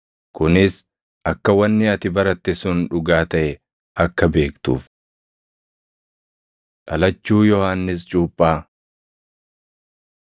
Kunis akka wanni ati baratte sun dhugaa taʼe akka beektuuf. Dhalachuu Yohannis Cuuphaa